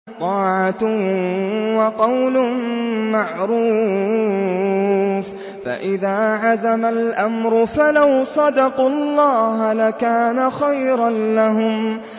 طَاعَةٌ وَقَوْلٌ مَّعْرُوفٌ ۚ فَإِذَا عَزَمَ الْأَمْرُ فَلَوْ صَدَقُوا اللَّهَ لَكَانَ خَيْرًا لَّهُمْ